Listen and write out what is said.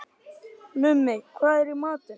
Mummi, hvað er í matinn?